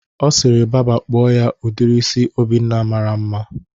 Ọ sịrị baba kpụọ ya udiri isi ọbụna mara mma